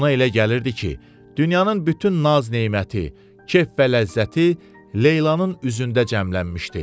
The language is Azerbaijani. Ona elə gəlirdi ki, dünyanın bütün naz-neməti, kef və ləzzəti Leylanın üzündə cəmlənmişdi.